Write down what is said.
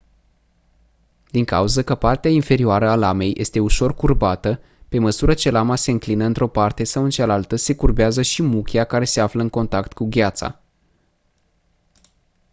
din cauză că partea inferioară a lamei este ușor curbată pe măsură ce lama se înclină într-o parte sau în cealaltă se curbează și muchia care se află în contact cu gheața